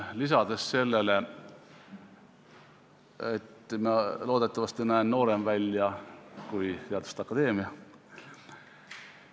Lisan sellele, et ma loodetavasti näen noorem välja kui teaduste akadeemia.